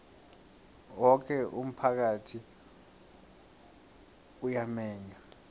woke umphakathi uyamenywa